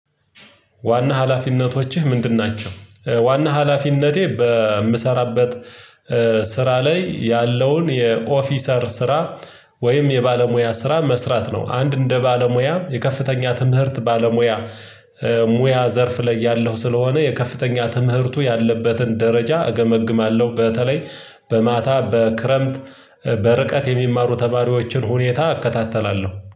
ዋና ሀላፊነቶችህ ምንድን ናቸው? ዋና ሀላፊነቴ በምሰራበት ስ ስራ ላይ ያለውን የኦፊሰር ስራ ወይም የባለሙያ ስራ መስራት ነው። አንድ እንደ ባለሙያ የከፍተኛ ትምህርት ባለሙያ ሙያ ዘርፍ ላይ ያለሁ ስለሆነ የከፍተኛ ትምህርቱ ያለበትን ደረጃ እገመግማለሁ በተለይ በማታ በክረምት በርቀት የሚማሩ ተማሪዎችን ሁኔታ እከታተላለሁ